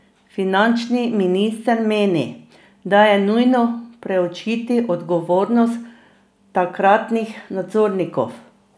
Finančni minister meni, da je nujno preučiti odgovornost takratnih nadzornikov.